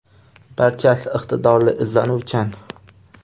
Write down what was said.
Barchasi iqtidorli, izlanuvchan.